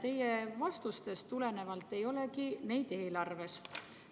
Teie vastustest tulenevalt ei olegi neid eelarves.